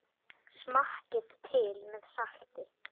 Smakkið til með salti.